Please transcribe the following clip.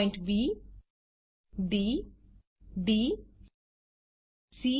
point B D D C